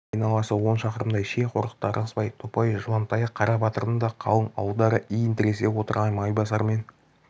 айналасы он шақырымдай ши қорықта ырғызбай топай жуантаяқ қарабатырдың да қалың ауылдары иін тіресе отырған майбасар мен